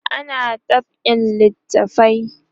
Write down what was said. ana dab'in littafai